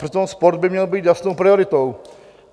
Přitom sport by měl být jasnou prioritou.